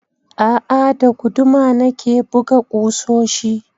A'a, da guduma na ke buga ƙusoshi.